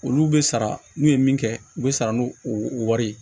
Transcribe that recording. Olu bɛ sara n'u ye min kɛ u bɛ sara n'u wari ye